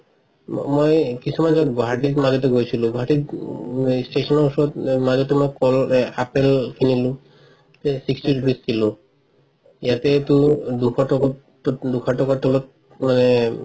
ম মই কিছুমান জাগাত গুৱাহাটীত মাজতে গৈছিলো গুৱাহাটীত উম station ৰ ওচৰত মাজতে মই কল আপেল কিনিলো sixty rupees kilo ইয়াতেটো দুশ টকাৰ তলত মানে